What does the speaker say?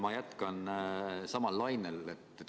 Ma jätkan samal lainel.